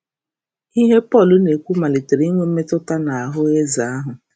Ihe Pọl na-ekwu malitere inwe mmetụta n'ahụ eze ahụ.